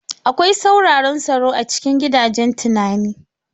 Akwai tsauraran tsaro a cikin gidajen tunani.